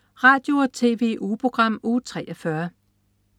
Radio- og TV-ugeprogram Uge 43